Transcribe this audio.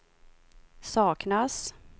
saknas